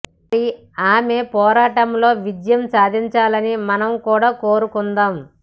మరి ఆమె పోరాటంలో విజయం సాధించాలని మనం కూడా కోరుకుందాం